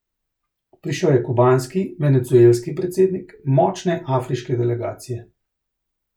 Prišel je kubanski, venezuelski predsednik, močne afriške delegacije.